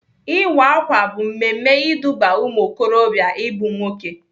Ịwa ákwà bụ mmemme iduba ụmụokorobịa ịbụ nwoke.